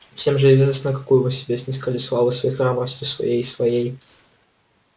всем же известно какую вы себе снискали славу своей храбростью своей своей